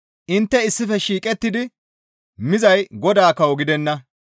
Intte issife shiiqettidi mizay Godaa kawo gidenna.